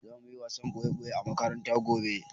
Za muyi wasan ɓoye-ɓoye a makaranta gobe